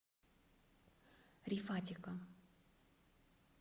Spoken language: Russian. рифатика